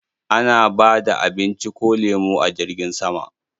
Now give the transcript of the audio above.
Ana ba da abinci ko lemo a jirgin sama.